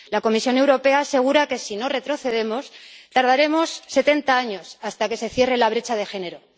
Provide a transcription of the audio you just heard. La Comisión Europea asegura que, si no retrocedemos, tardaremos 70 años hasta que se cierre la brecha de género.